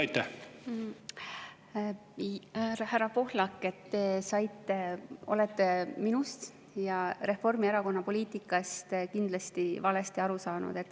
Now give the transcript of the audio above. Härra Pohlak, te olete minust ja Reformierakonna poliitikast kindlasti valesti aru saanud.